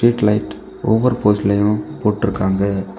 Street light ஒவ்வொரு போஸ்ட்லையும் போட்டுருக்காங்க.